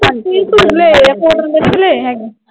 ਤੀਹ ਸੂਟ ਲਏ ਆ cotton ਦੇ ਵੀ ਲਏ ਹੈਗੇ।